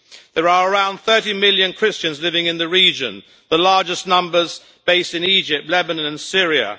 There are around 30 million Christians living in the region, the largest numbers based in Egypt, Lebanon and Syria.